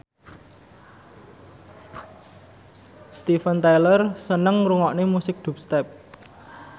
Steven Tyler seneng ngrungokne musik dubstep